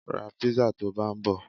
Ra písà tó bá ń bọ.